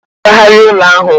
A ga m agbagharị ụlọ ahu